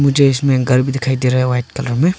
मुझे इसमें घर भी दिखाई दे रहा है वाइट कलर में।